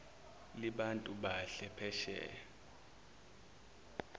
libantu bahle phesheya